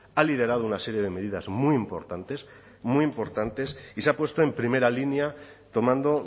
ha liderado una serie de medidas muy importantes muy importantes y se ha puesto en primera línea tomando